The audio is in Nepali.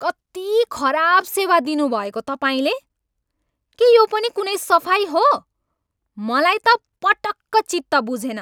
कति खराब सेवा दिनुभएको तपाईँले? के यो पनि कुनै सफाइ हो? मलाई त पटक्क चित्त बुझेन।